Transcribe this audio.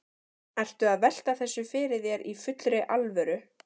Ertu að velta þessu fyrir þér í fullri alvöru?